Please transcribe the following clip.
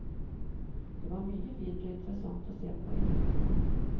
Det var mye fint og interessant å se på i templene.